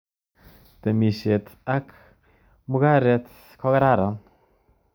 Temishet ak mugaret kokararan